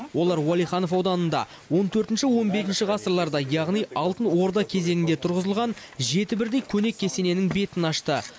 олар уәлиханов ауданында он төртінші он бесінші ғасырларда яғни алтын орда кезеңінде тұрғызылған жеті бірдей көне кесененің бетін ашты